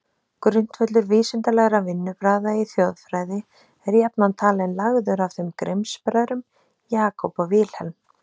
Grundvöllur vísindalegra vinnubragða í þjóðfræði er jafnan talinn lagður af þeim Grimms-bræðrum, Jacob og Wilhelm.